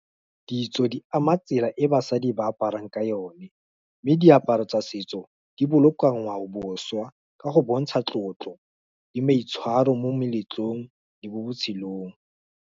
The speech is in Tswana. Ditso di ama tsela e basadi ba aparang ka yone, mme diaparo tsa setso, di boloka ngwaoboswa, ka go bontsha tlotlo, le maitshwaro, mo meletlong le mo botshelong.